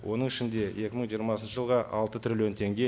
оның ішінде екі мың жиырмасыншы жылға алты трилллион теңге